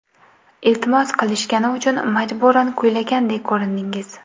Iltimos qilishgani uchun majburan kuylagandek ko‘rindingiz.